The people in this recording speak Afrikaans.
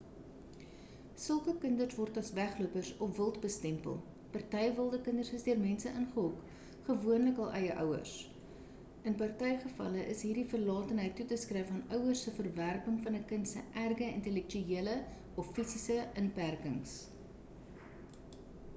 sulke kinders word as weglopers of wild bestempel. party wilde kinders is deur mense ingehok gewoonlik hul eie ouers; in party gevalle is hierdie verlatenheid toe te skrywe aan ouers se verwerping van 'n kind se erge intellektuele of fisiese inperkings